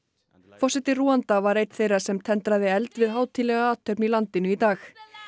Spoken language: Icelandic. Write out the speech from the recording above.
forseti Rúanda var einn þeirra sem tendraði eld við hátíðlega athöfn í landinu í dag